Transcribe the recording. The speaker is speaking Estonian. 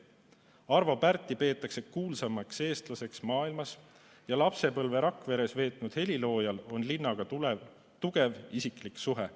Arvo Pärti peetakse kuulsaimaks eestlaseks maailmas ja lapsepõlve Rakveres veetnud heliloojal on linnaga tugev isiklik suhe.